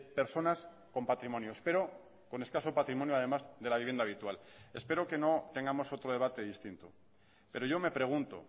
personas con patrimonios pero con escaso patrimonio además de la vivienda habitual espero que no tengamos otro debate distinto pero yo me pregunto